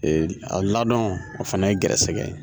a ladɔn o fana ye gɛrɛsɛgɛ ye.